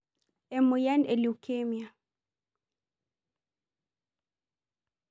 Emoyian e leukemia.